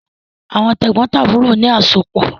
Àwọn tẹ̀gbọ́ntàbúrò ni àsopọ̀